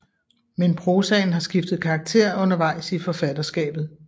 Men prosaen har skiftet karakter under vejs i forfatterskabet